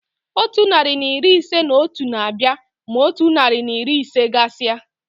Otu narị na iri ise na otu na-abịa ma otu narị na iri ise gasia.